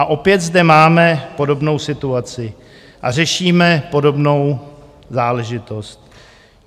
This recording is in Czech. A opět zde máme podobnou situaci a řešíme podobnou záležitost.